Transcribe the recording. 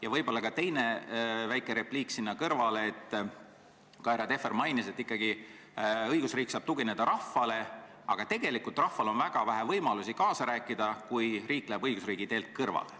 Ja võib-olla ka teine väike repliik sinna kõrvale: härra Tehver mainis, et õigusriik saab tugineda ikkagi rahvale, aga tegelikult rahval on väga vähe võimalusi kaasa rääkida, kui riik läheb õigusriigi teelt kõrvale.